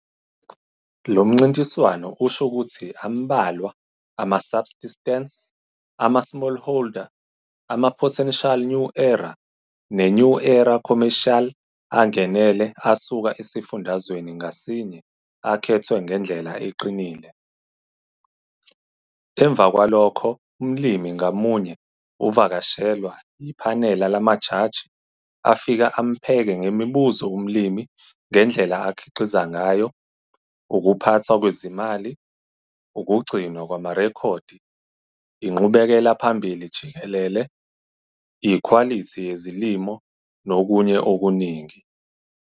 Lo mncintiswaso usho ukuthi ambalwa ama-Subsistence, ama-Smallholder, ama-Potential New Era ne-New Era Commercial angenele asuka esifundazweni ngasinye akhethwe ngendlela eqinile, emva kwalokho umlimi ngamunye uvakashelwa yiphanela lamajaji afika ampheke ngemibuzo umlimi ngendlela akhiqiza ngayo, ukuphathwa kwezimali, ukugcinwa kwamarekhodi, inqubekela phambili jikelele, ikhwalithi yezilimo nokunye okuningi.